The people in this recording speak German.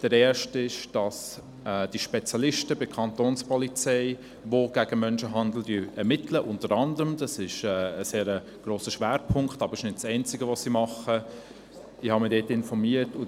Die erste will, dass bei den Spezialisten der Kantonspolizei, die unter anderem gegen Menschenhandel ermitteln – das ist ein grosser Schwerpunkt, aber nicht das Einzige, was sie tun –, zusätzliche Stellenprozente hinzukommen.